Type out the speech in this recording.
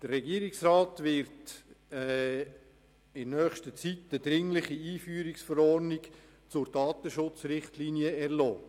Der Regierungsrat wird in nächster Zeit eine dringliche Einführungsverordnung zur Datenschutzrichtlinie erlassen.